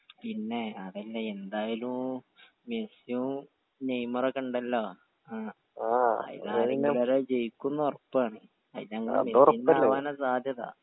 പിന്നെ അതല്ല എന്തായാലൂ മെസിയൂ നെയ്‌മറൊക്കെ ഇണ്ടലോ ആ അയിന്ന് ഒരാൾ ജയിക്കും ന്ന് ഒറപ്പാണ് അത് ഞങ്ങടെ മെസ്സിന്റെ ആവാന സാധ്യത